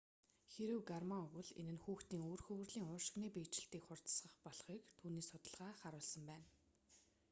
хэрэв гормон өгвөл энэ нь хүүхдийн үр хөврөлийн уушигны биежилтийг хурдасгадаг болохыг түүний судалгаа харуулсан байна